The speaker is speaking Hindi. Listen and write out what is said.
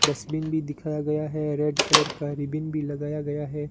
डस्टबिन भी दिखाया गया है रेड कलर का रिबन भी लगाया गया है।